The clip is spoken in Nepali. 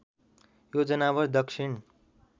यो जनावर दक्षिण